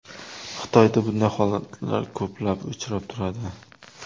Xitoyda bunday holatlar ko‘plab uchrab turadi.